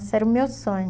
era o meu sonho.